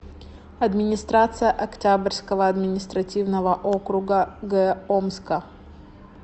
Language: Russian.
администрация октябрьского административного округа г омска